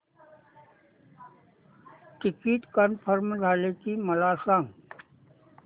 ticket confirm झाले की मला सांग